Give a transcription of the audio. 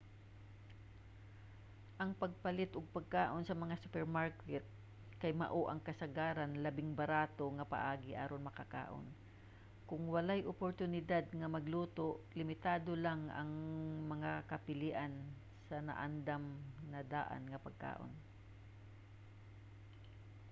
ang pagpalit og pagkaon sa mga supermarket kay mao ang kasagaran labing barato nga paagi aron makakaon. kon walay oportunidad nga magluto limitado lang ang mga kapilian sa naandam-na-daan nga pagkaon